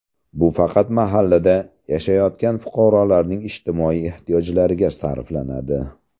Bu faqat mahallada yashayotgan fuqarolarning ijtimoiy ehtiyojlariga sarflanadi.